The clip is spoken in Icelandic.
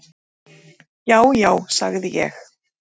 """Já, já, sagði ég."""